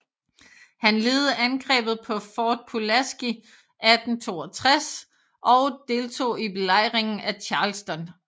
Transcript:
Han ledede angrebet på Fort Pulaski 1862 og deltog i belejringen af Charleston